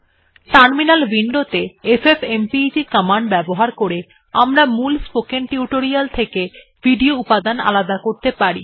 terminal window ত়ে FFmpeg command ব্যবহার করে আমরা মূল স্পোকেন টিউটোরিয়াল থেকে ভিডিও উপাদান আলাদা করতে পারি